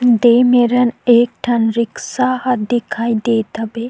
दे मरण एक ठन रिक्शा ह दिखाई देत हबे।